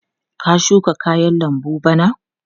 Ka shuka kayan lambu bana?